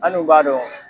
An dun b'a dɔn